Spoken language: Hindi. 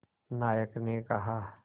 नायक ने कहा